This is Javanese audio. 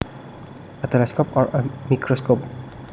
a telescope or a microscope